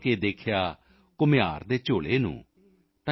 ਖੋਲ੍ਹ ਕੇ ਦੇਖਿਆ ਕੁਮਹਾਰ ਦੇ ਝੋਲੇ ਨੂੰ ਤਾਂ